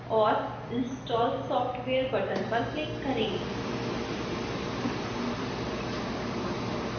और install software button पर click करें